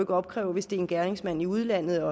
opkræve hvis det er en gerningsmand i udlandet og